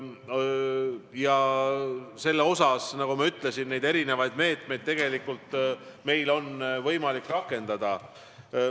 Ja selle vastu, nagu ma ütlesin, on meil võimalik erinevad meetmeid rakendada.